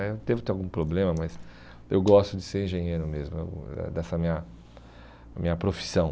Eh eu devo ter algum problema, mas eu gosto de ser engenheiro mesmo, eu é dessa minha minha profissão.